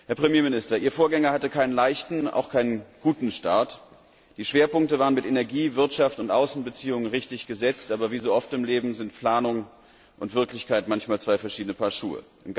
Herr Premierminister, Ihr Vorgänger hatte keinen leichten und auch keinen guten Start. Die Schwerpunkte waren mit Energie, Wirtschaft und Außenbeziehungen richtig gesetzt, aber wie so oft im Leben sind Planung und Wirklichkeit manchmal zwei verschiedene Paar Schuhe.